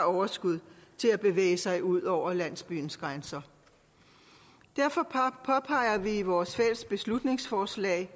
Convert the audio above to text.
overskud til at bevæge sig ud over landsbyens grænser derfor påpeger vi i vores fælles forslag